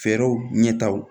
Fɛɛrɛw ɲɛtagaw